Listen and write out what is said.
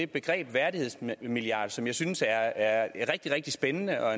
begrebet værdighedsmilliard som jeg synes er rigtig rigtig spændende og